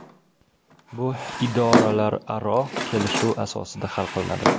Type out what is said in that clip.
Bu idoralararo kelishuv asosida hal qilinadi.